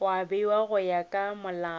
bewa go ya ka molao